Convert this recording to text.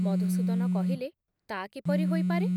ମଧୁସୂଦନ କହିଲେ, ତା କିପରି ହୋଇପାରେ